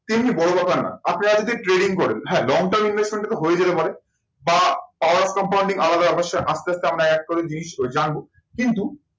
তেমনি বড় ব্যাপার না। আপনারা যদি trading করেন, হ্যাঁ, long term investment তো হয়েই যেতে পারে, বা power compounding আলাদা ব্যাপার সেটা আস্তে আস্তে আমরা এক করে জিনিসটা জানবো। কিন্তু